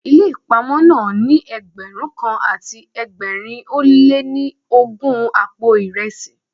Ilé ìpamọ́ náà ní Ẹgbẹ̀rún kan àti ẹgbẹ̀rin ó lé ní ogún àpò ìresí.